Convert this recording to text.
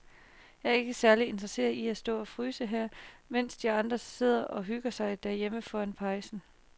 Jeg er ikke særlig interesseret i at stå og fryse her, mens de andre sidder og hygger sig derhjemme foran pejsen.